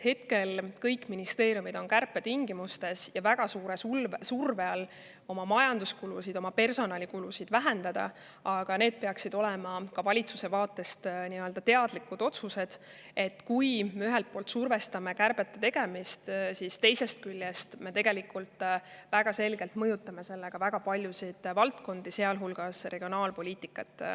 Hetkel kõik ministeeriumid on kärpetingimustes väga suure surve all oma majanduskulusid ja oma personalikulusid vähendada, aga need peaksid ikkagi olema ka valitsuse vaatest teadlikud otsused, et kui ühelt poolt me survestame kärbete tegemist, siis teisest küljest me tegelikult selgelt mõjutame sellega väga paljusid valdkondi, sealhulgas regionaalpoliitikat.